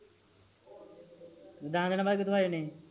ਦਾਸ ਦੀਨਾ ਬਾਦ ਕਿਥੋਂ ਆ ਜਣੇ ਆ